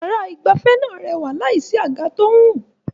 Yàrá ìgbafẹ́ náà rẹwà láìsí àga tó ń rùn.